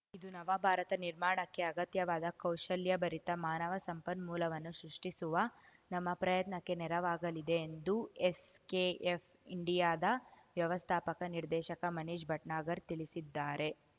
ಇದು ನವಭಾರತ ನಿರ್ಮಾಣಕ್ಕೆ ಅಗತ್ಯವಾದ ಕೌಶಲ್ಯಾಭರಿತ ಮಾನವ ಸಂಪನ್ಮೂಲವನ್ನು ಸೃಷ್ಟಿಸುವ ನಮ್ಮ ಪ್ರಯತ್ನಕ್ಕೆ ನೆರವಾಗಲಿದೆ ಎಂದು ಎಸ್ಕೆಎಫ್ ಇಂಡಿಯಾದ ವ್ಯವಸ್ಥಾಪಕ ನಿರ್ದೇಶಕ ಮನೀಶ್ ಭಟ್ನಾಗರ್ ತಿಳಿಸಿದ್ದಾರೆ